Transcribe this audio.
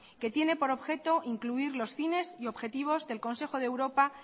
que tiene por objeto incluir los fines y objetivos del consejo de europa